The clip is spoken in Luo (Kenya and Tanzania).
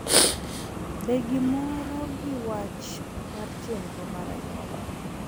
Be giromo gi wach mar chenro mar anyuola